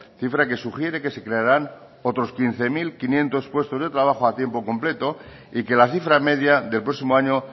cifra que sugiere que se crearán otros quince mil quinientos puestos de trabajo a tiempo completo y que la cifra media del próximo año